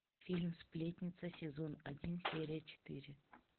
фильм сплетница сезон один серия четыре